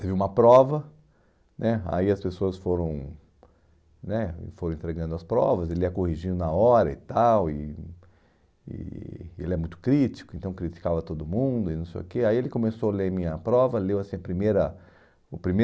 teve uma prova né, aí as pessoas foram né foram entregando as provas, ele ia corrigindo na hora e tal, e e ele é muito crítico, então criticava todo mundo, e não sei o que, aí ele começou a ler a minha prova, leu assim primeira, o